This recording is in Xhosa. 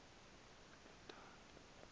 ebhetani